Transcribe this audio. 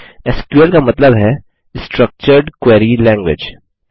SQL का मतलब है स्ट्रक्चर्ड क्वेरी लैंग्वेज